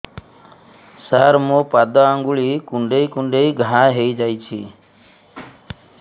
ସାର ମୋ ପାଦ ଆଙ୍ଗୁଳି କୁଣ୍ଡେଇ କୁଣ୍ଡେଇ ଘା ହେଇଯାଇଛି